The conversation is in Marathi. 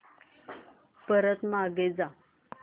परत मागे जा